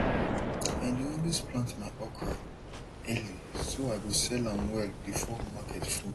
i dey always plant my okra early so i go sell am well before market full